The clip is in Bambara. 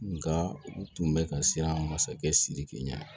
Nga u tun bɛ ka siran masakɛ sidiki ɲɛ